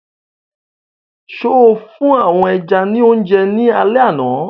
So fún àwọn ẹja ní oúnjẹ ní alẹ àná?